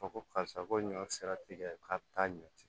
Fɔ ko karisa ko ɲɔ sera tigɛ k'a bɛ taa ɲɔ ci